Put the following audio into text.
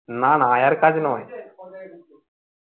না না আয়ার কাজ নয়